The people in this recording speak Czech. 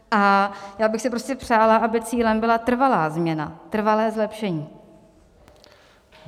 A já bych si prostě přála, aby cílem byla trvalá změna, trvalé zlepšení.